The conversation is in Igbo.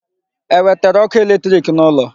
E wetere ọkụ electric n'ụlọ